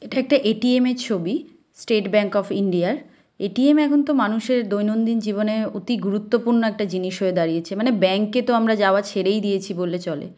এটা একটা এ.টি.এম. -এর ছবি স্টেট ব্যাংক অফ ইন্ডিয়া -এর এ.টি.এম. এখন তো মানুষের দৈনন্দিন জীবনে অতি গুরুত্বপূর্ণ একটা জিনিস হয়ে দাঁড়িয়েছে মানে ব্যাংক -এ তো আমরা যাওয়া ছেড়েই দিয়েছি বললে চলে।